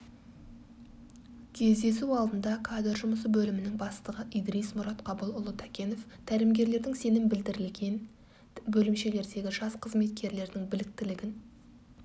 кездесу алдында кадр жұмысы бөлімінің бастығы идрис мұратқабылұлы такенов тәлімгерлердің сенім білдірілген бөлімшелердегі жас қызметкерлердің біліктілігін